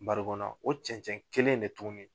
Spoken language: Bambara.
Barigon kɔnɔ, o cɛncɛn kelen de tuguni